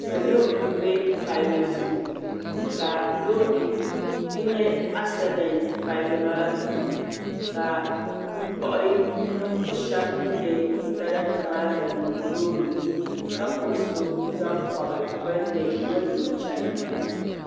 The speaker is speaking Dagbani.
Salo mbɛ palli zuɣu ka bi nya asadent palli maa zuɣu ka bi kpuɣi ninvuɣi shɛba bini nya sarati maa zaŋ niŋ loori ni ka kpuɣi so zaŋ pɔbi bini ni m mali o chɛna.